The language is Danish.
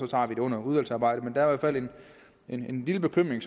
tager vi det under udvalgsarbejdet men hvert fald en lille bekymring